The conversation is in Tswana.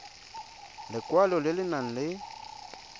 lekwalo le le nang le